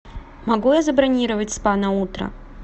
могу я забронировать спа на утро